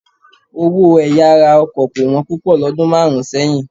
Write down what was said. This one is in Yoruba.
Owó ẹ̀yà ara ọkọ̀ kò wọ́n púpọ̀ lọ́dún márùn-ún sẹ́yìn.